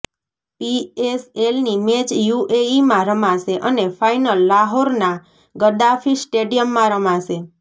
પીએસએલની match યૂએઈમાં રમાશે અને ફાઈનલ લાહોરના ગદ્દાફી સ્ટેડિયમમાં રમાશે